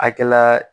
Akɛla